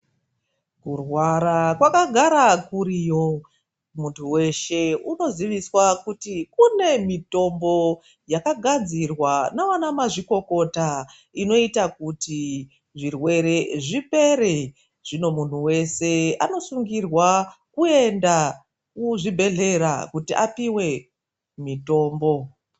Kurwara kwakagara kuriyo, muntu weshe unoziviswa kuti kune mitombo yakagadzirwa navana mazvikokota inoita kuti zvirwere zvipere. Zvino muntu weshe anosungirwa kuenda kuzvibhehlera kuti apiwe mitombo.